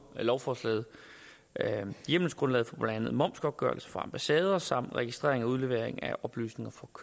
lovforslaget hjemmelsgrundlaget for blandt andet momsopgørelse fra ambassader samt registrering af udlevering af oplysninger